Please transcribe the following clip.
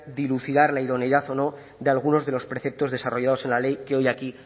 dilucidar la idoneidad o no de algunos de los preceptos desarrollados en la ley que hoy aquí